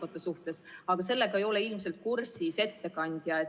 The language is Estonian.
... kasukate suhtes, aga sellega ei ole ettekandja ilmselt kursis.